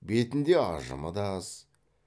бетінде ажымы да аз